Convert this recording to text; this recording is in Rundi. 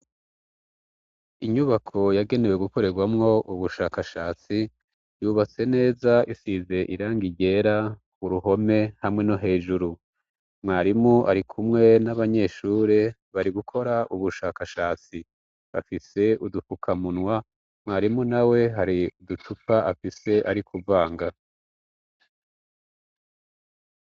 inyubako yagenewe gukorerwamwo ubushakashatsi yubatse neza isize irangi ryera uruhome hamwe no hejuru mwarimu ari kumwe n'abanyeshuri bari gukora ubushakashatsi afise udufukamunwa mwarimu na we hari uducupa afise ari kuvanga